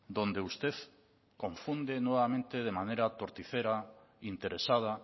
donde usted confunde nuevamente de manera torticera interesada